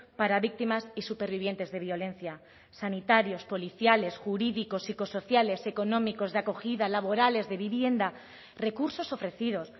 para víctimas y supervivientes de violencia sanitarios policiales jurídicos psicosociales económicos de acogida laborales de vivienda recursos ofrecidos